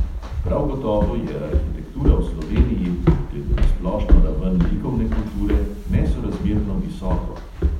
Prav gotovo je to eden od razlogov, zakaj je arhitektura v sloveniji, glede na splošno raven likovne kulture, nesorazmerno visoko.